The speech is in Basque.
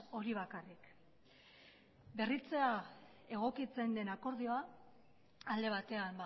hori bakarrik berritzea egokitzen den akordioa alde batean